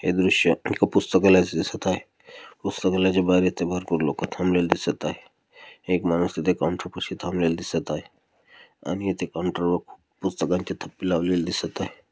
हे दृश्य एक पुस्तकालाय च दिसत आहे पुस्तकालायच बाजू इथे भरपूर लोक थांबलेल दिसत आहे एक माणूस काऊंटर पाशी थांबलेल दिसत आहे आणि इथे काऊंटर वर पुस्तकांचे तप्पे लावलेले दिसत आहे.